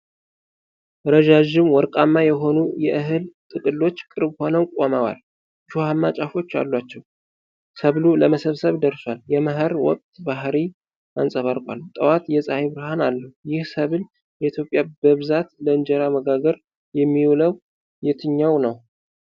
ረዣዥም፣ ወርቃማ የሆኑ የእህል ጥቅሎች ቅርብ ሆነው ቆመዋል። እሾሃማ ጫፎች አላቸው። ሰብሉ ለመሰብሰብ ደርሷል። የመኸር ወቅት ባህሪይ አንፀባርቋል። ጠዋት የፀሐይ ብርሃን አለው። ይህ ሰብል በኢትዮጵያ በብዛት ለእንጀራ መጋገር የሚውለው የትኛው ነው?